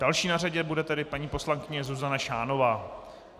Další na řadě bude tedy paní poslankyně Zuzana Šánová.